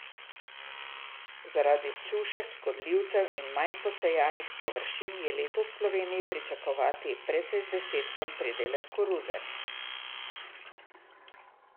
Zaradi suše, škodljivcev in manj posejanih površin je letos v Sloveniji pričakovati precej zdesetkan pridelek koruze.